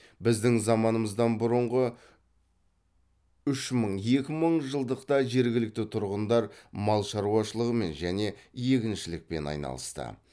біздің заманымыздан бұрынғы үш мың екі мыңжылдықта жергілікті тұрғындар мал шаруашылығымен және егіншілікпен айналысты